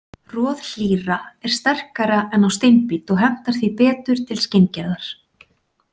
Roð hlýra er sterkara en á steinbít og hentar því betur til skinngerðar.